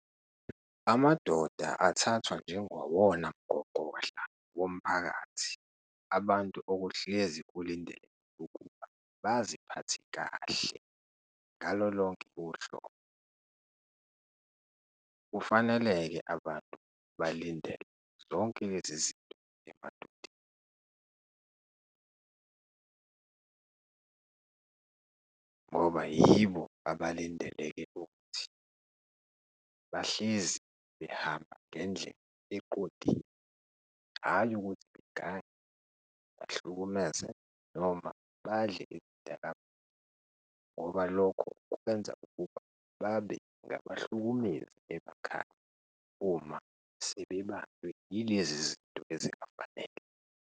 Amadoda athathwa njengawona mgogodla womphakathi, abantu okuhlezi kulindele ukuba baziphathe kahle ngalo lonke uhlobo. Kufanele-ke abantu balindele zonke lezizinto emadodeni ngoba yibo abalindileke ukuthi bahlezi behamba ngendlela eqondile, hhayi ukuthi begange, bahlukumeze noma badle iy'dakamizwa ngoba lokho kubenza ukuba babe ngabahlukumezi emakhaya uma sebebanjwe yilezi zinto ezingafanele.